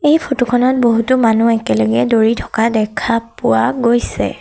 এই ফটো খনত বহুতো মানুহ একেলগে দৌৰি থকা দেখা পোৱা গৈছে।